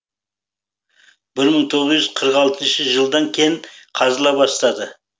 бір мың тоғыз жүз қырық алтыншы жылдан кен қазыла бастады